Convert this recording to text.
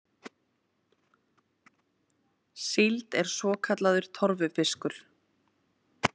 Síld er svokallaður torfufiskur.